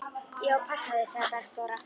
Ég á að passa þig, sagði Bergþóra.